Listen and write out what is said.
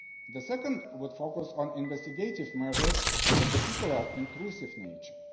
The second would focus on investigative measures of a particular intrusive nature.